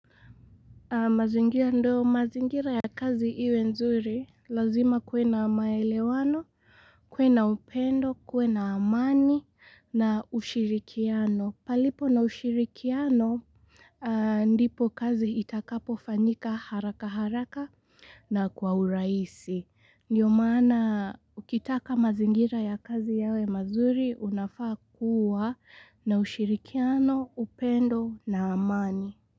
Mazingira nddo mazingira ya kazi iwe nzuri lazima kuwe na maelewano, kuwe na upendo, kuwe na amani na ushirikiano. Palipo na ushirikiano ndipo kazi itakapo fanyika haraka haraka na kwa urahisi. Ndiyo maana ukitaka mazingira ya kazi yawe mazuri unafaa kuwa na ushirikiano, upendo na amani.